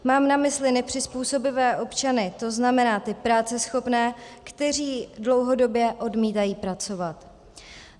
Mám na mysli nepřizpůsobivé občany, to znamená ty práceschopné, kteří dlouhodobě odmítají pracovat.